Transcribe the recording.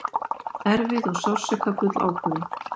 Erfið og sársaukafull ákvörðun